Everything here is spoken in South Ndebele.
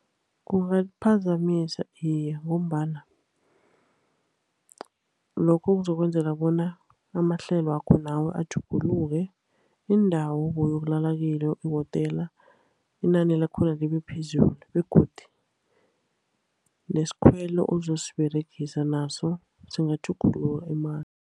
Kungaliphazamisa, iye. Ngombana lokho kuzokwenzela bona amahlelo wakho nawe atjhuguluke, indawo obowuyokulala kiyo, ihotela, inani lakhona libe phezulu. Begodu nasikhwelo ozosiberegisa naso singatjhugulula imali.